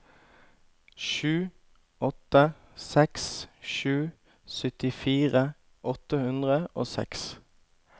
sju åtte seks sju syttifire åtte hundre og seks